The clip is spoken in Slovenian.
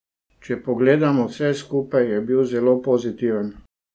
Če pogledamo vse skupaj, je bil zelo pozitiven.